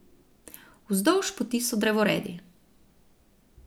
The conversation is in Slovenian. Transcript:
Vzdolž poti so drevoredi.